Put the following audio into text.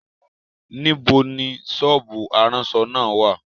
Níbo ni sọ́ọ́bù aránṣọ náà wà?